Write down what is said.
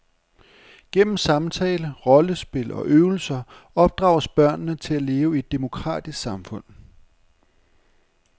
Gennem samtale, rollespil og øvelser opdrages børnene til at leve i et demokratisk samfund.